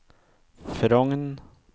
Frogn